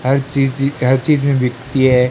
हर चीजी हर चीज में बिकती है।